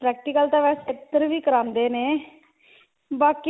practical ਤਾਂ ਵੈਸੇ ਇੱਧਰ ਵੀ ਕਰਾਉਂਦੇ ਨੇ ਬਾਕੀ